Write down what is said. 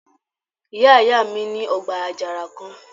Ìyá ìyá mi ní ọgbà àjàrà kan